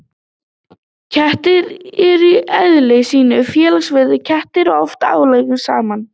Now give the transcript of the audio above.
Kettir eru í eðli sínu félagsverur og kemur oft ágætlega saman.